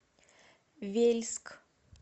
вельск